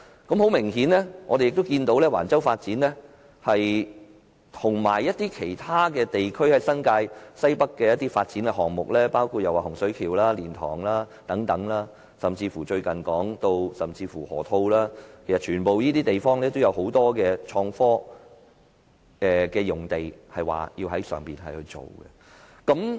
我們明顯看到橫洲的發展及其他地區，例如新界西北的發展項目，包括洪水橋、蓮塘/香園圍口岸，甚至最近提及的河套區發展等，均有很多創科用地要發展。